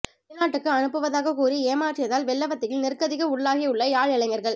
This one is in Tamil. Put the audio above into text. வெளிநாட்டுக்கு அனுப்புவதாக கூறி ஏமாற்றியதால் வெள்ளவத்தையில் நிர்க்கதிக்கு உள்ளாகியுள்ள யாழ் இளைஞர்கள்